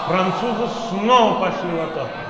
французы снова пошли в атаку